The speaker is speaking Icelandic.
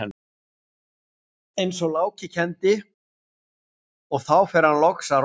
eins og Láki kenndi, og þá fer hann loks að róast.